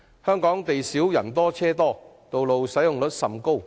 香港不但地少，而且人多車多，道路使用率也極高。